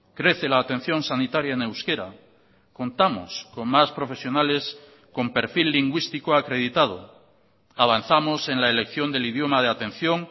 crece la atención sanitaria en euskera contamos con más profesionales con perfil lingüístico acreditado avanzamos en la elección del idioma de atención